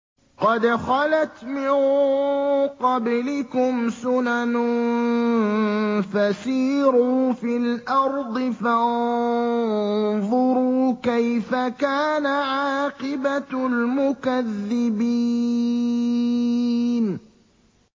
قَدْ خَلَتْ مِن قَبْلِكُمْ سُنَنٌ فَسِيرُوا فِي الْأَرْضِ فَانظُرُوا كَيْفَ كَانَ عَاقِبَةُ الْمُكَذِّبِينَ